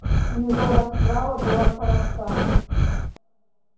у него расправа была коротка